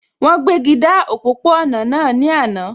Wọ́n gbéji dá òpópó-ọ̀nà náà ní àná